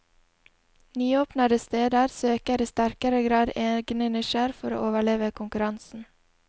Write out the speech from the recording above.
Nyåpnede steder søker i sterkere grad egne nisjer for å overleve konkurransen.